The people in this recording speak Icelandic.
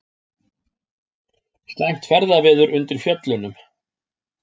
Slæmt ferðaveður undir Fjöllunum